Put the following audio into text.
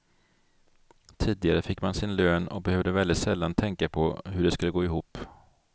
Tidigare fick man sin lön och behövde väldigt sällan tänka på hur det skulle gå ihop.